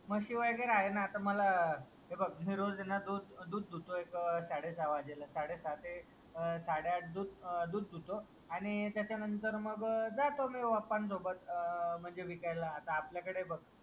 म्हशी वगैरे आहे ना आता मला हे बघ मी रोज ये ना दूध दूध धुतोय एक साडे सहा वाजेला साडेसहा ते साडेआठ दूध दूध धुतो आणि त्याच्यानंतर मग जातो मी पप्पांसोबत अह म्हणजे विकायला आता आपल्याकडे बघ